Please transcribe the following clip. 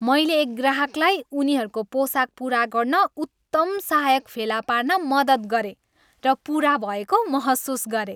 मैले एक ग्राहकलाई उनीहरूको पोसाक पुरा गर्न उत्तम सहायक फेला पार्न मद्दत गरेँ, र पुरा भएको महसुस गरेँ।